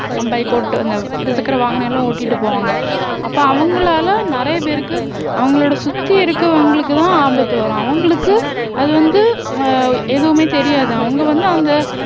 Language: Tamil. bike ஓட்டு அந்த இருசக்கர வாகனம் எல்லாம் ஓட்டிட்டு போவாங்க அப்ப அவங்களால நிறைய பேருக்கு அவங்களோட சுத்தி இருக்கவங்களுக்கு தான் ஆபத்து வரும் அவங்களுக்கு அது வந்து அஹ் எதுவுமே தெரியாது அவங்க வந்து அந்த